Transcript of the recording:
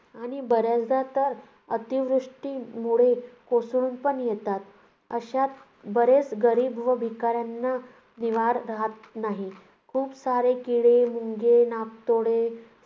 आणि बऱ्याचदा तर अतिवृष्टीमुळे कोसळून पण येतात. अश्यात बरेच गरीब व भिकार्‍यांना निवारा राहत नाही. खूप सारे किडे मुंग्या, नाकतोडे,